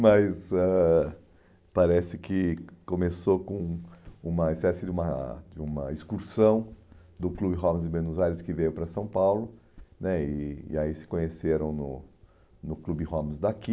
Mas ãh parece que começou com uma espécie de uma de uma excursão do Clube Homs de Buenos Aires, que veio para São Paulo né, e e aí se conheceram no no Clube Homs daqui.